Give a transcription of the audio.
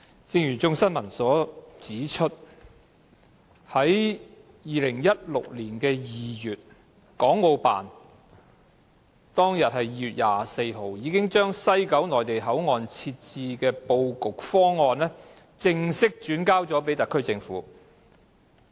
正如《眾新聞》指出，在2016年2月24日，國務院港澳事務辦公室已把西九龍站的內地口岸設置布局方案，正式轉交特區政府。